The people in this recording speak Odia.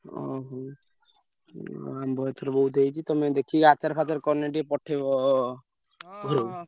ଓହୋ, ହଁ ଆମ୍ବ ଏଥର ବହୁତ ହେଇଛି। ତମେ ଦେଖିକି ଆଚାର ଫାଚାର କଲେ ଟିକେ ପଠେଇବ ଘରୁକୁ।